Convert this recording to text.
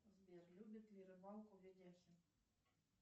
сбер любит ли рыбалку видяхин